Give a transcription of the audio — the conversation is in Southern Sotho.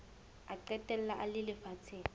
a qetella a le lefatsheng